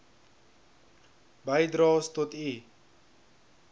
bydraes tot u